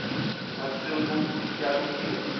masungu ya lukiwa